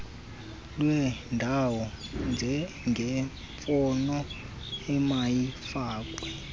lwendawo njengemfuno emayifakwe